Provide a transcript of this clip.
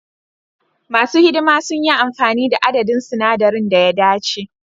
Masu hidima sun yi amfani da adadin sinadaran da ya dace.